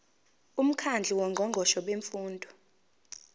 umkhandlu wongqongqoshe bemfundo